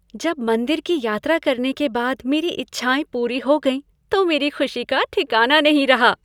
जब मंदिर की यात्रा करने के बाद मेरी इच्छाएं पूरी हो गईं तो मेरी खुशी का ठिकाना नहीं रहा।